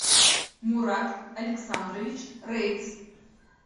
мурат александрович рейц